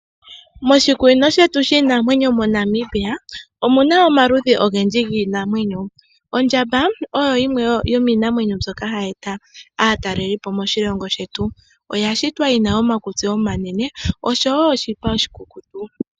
Moshikunino shetu shiinamwenyo moNamibia omuna omaludhi ogendji giinamwenyo. Ondjamba oyo yimwe yomiinamwenyo mbyoka hayi eta aataleli po moshilongo shetu. Oya shitwa yi na omakutsi omanene noshipa oshikukutu.